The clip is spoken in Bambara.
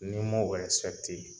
Ni m'o ɛrɛsipɛkite